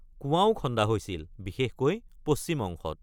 কুঁৱাও খন্দা হৈছিল, বিশেষকৈ পশ্চিম অংশত।